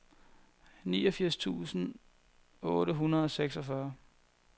niogfirs tusind otte hundrede og seksogfyrre